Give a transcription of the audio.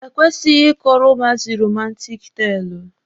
E kwesịghị ịkọrọ ụmụazị romantik teelụ.